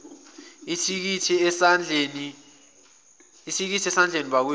ithikithi esandleni bakwethu